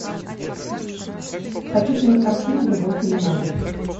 хочу кинокартину любовь и лимоны